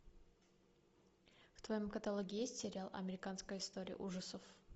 в твоем каталоге есть сериал американская история ужасов